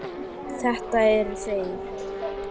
Þetta eru þeir.